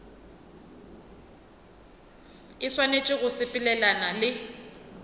e swanetše go sepelelana le